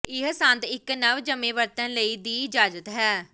ਇਹ ਸੰਦ ਇੱਕ ਨਵਜੰਮੇ ਵਰਤਣ ਲਈ ਦੀ ਇਜਾਜ਼ਤ ਹੈ